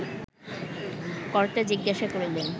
কর্তা জিজ্ঞাসা করিলেন